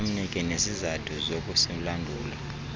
amnike nezizathu zokusilandula